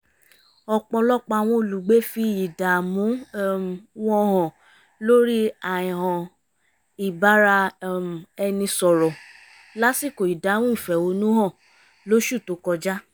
ọ̀pọ̀lọpọ̀ àwọn olùgbé fi ìdààmú um wọn hàn lórí àìhàn ìbára um ẹni sọ̀rọ̀ lásìkò ìdáhùn ìfẹ̀hónú-hàn lóṣù tó kọjá